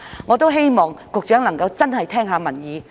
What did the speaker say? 我也希望局長能夠真的聆聽民意。